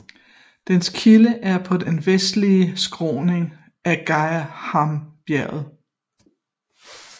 Dens kilde er på den vestlige skråning af Geghamabjergene